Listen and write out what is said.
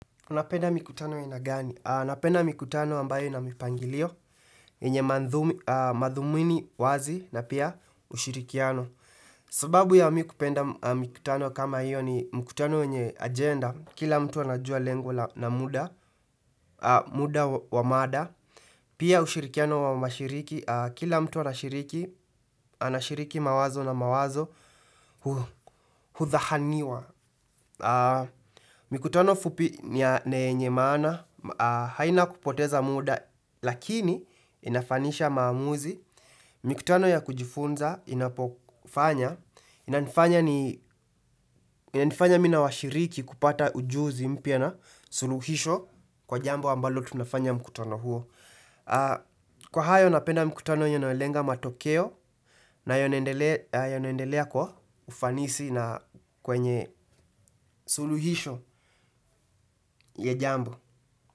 Napenda mikutano aina gani? Napenda mikutano ambayo ina mipangilio, yenye madhumini wazi na pia ushirikiano. Sababu ya mimi kupenda mikutano kama hiyo ni mkutano yenye agenda, kila mtu anajua lengo na muda, muda wa mada, pia ushirikiano wa mashiriki, kila mtu anashiriki, anashiriki mawazo na mawazo, hudhahaniwa. Mikutano fupi ni ya yenye maana, haina kupoteza muda, lakini inafanisha maamuzi. Mikutano ya kujifunza inapofanya, inanifanya mimi na washiriki kupata ujuzi mpya na suluhisho kwa jambo ambalo tunafanya mkutano huo. Kwa hayo napenda mkutano yenye nayolenga matokeo na yanayoendelea kwa ufanisi na kwenye suluhisho ya jambo.